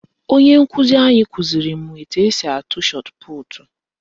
Onye nkụzi anyị kụziri m etu esi atụ shọtputu